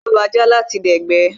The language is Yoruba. Wón yóò lo ajá láti dẹ̀gbẹ́